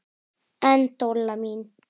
En Dolla mín.